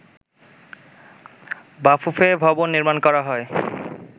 বাফুফে ভবন নির্মাণ করা হয়